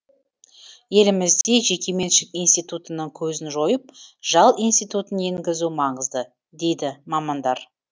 елімізде жекеменшік институтының көзін жойып жал институтын енгізу маңызды дейді мамандар